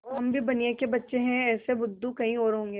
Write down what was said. हम भी बनिये के बच्चे हैं ऐसे बुद्धू कहीं और होंगे